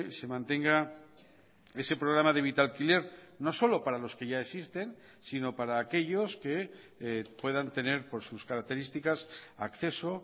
se mantenga ese programa de vitalquiler no solo para los que ya existen sino para aquellos que puedan tener por sus características acceso